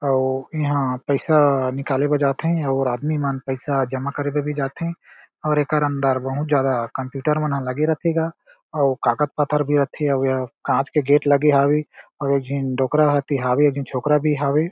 अउ इहा पईसा निकाले बर जाथे अउ आदमी मन पईसा जमा करे बर भी जाथे और एकर अंदर बहुत ज्यादा कंप्यूटर मन ह लागे रथे गा अउ कागज़-पत्तर भी रथे अउ एह कांच के गेट लगे हावे अव झीन डोकरा भी हावे झीन छोकरा भी हावे।